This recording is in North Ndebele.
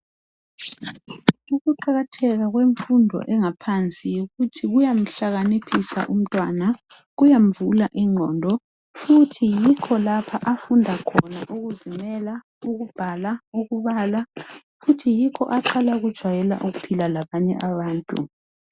Ukuqakatheka kwemfundo engaphansi yikuthi kuyamhlakaniphisa umntwana ,kuyamvula ingqondo, futhi yikho lapha afunda khona ukuzimela, ukubhala, ukubala. Futhi yikho aqala ukjwayela ukuphila labanye abantu.